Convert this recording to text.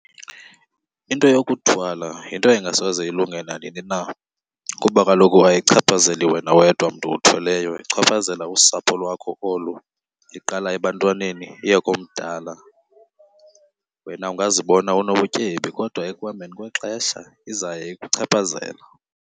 Into yokuthwala yinto engasoze ilunge nanini na kuba kaloku ayichaphazeli wena wedwa mntu uthweleyo ichaphazela usapho lwakho olu, iqala ebantwaneni iye komdala. Wena ungazibona unobutyebi kodwa ekuhambeni kwexesha izawuye ikuchaphazela.